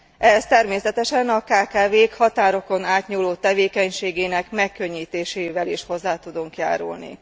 Ehhez természetesen a kkv k határokon átnyúló tevékenységének megkönnyítésével is hozzá tudunk járulni.